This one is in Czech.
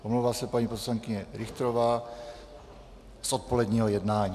Omlouvá se paní poslankyně Richterová z odpoledního jednání.